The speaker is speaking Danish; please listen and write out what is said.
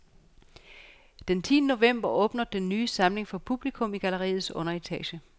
Den tiende november åbner den ny samling for publikum i galleriets underetage.